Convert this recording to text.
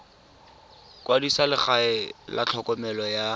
kwadisa legae la tlhokomelo ya